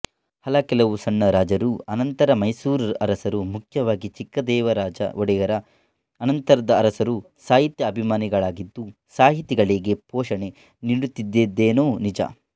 ಹಲಕೆಲವು ಸಣ್ಣ ರಾಜರೂ ಅನಂತರ ಮೈಸೂರರಸರೂ ಮುಖ್ಯವಾಗಿ ಚಿಕ್ಕದೇವರಾಜ ಒಡೆಯರ ಅನಂತರದ ಅರಸರೂ ಸಾಹಿತ್ಯಾಭಿಮಾನಿಗಳಾಗಿದ್ದು ಸಾಹಿತಿಗಳಿಗೆ ಪೋಷಣೆ ನೀಡುತ್ತಿದ್ದುದೇನೋ ನಿಜ